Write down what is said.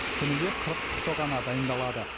күніге қырық құты ғана дайындалады